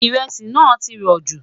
iresi nà tí rò jù